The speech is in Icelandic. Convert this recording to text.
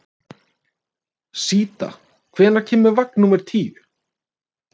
Síta, hvenær kemur vagn númer tíu?